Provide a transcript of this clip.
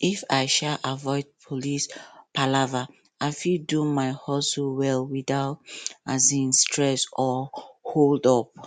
if i um avoid police palava i fit do my hustle well without um stress or holdup